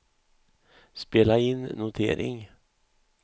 spela in notering